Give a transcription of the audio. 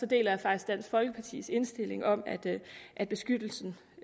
deler jeg faktisk dansk folkepartis indstilling om at beskyttelsen